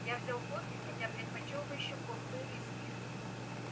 я взял кофе хотя предпочёл бы ещё порцию виски